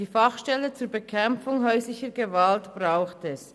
Die Fachstelle zur Bekämpfung häuslicher Gewalt braucht es.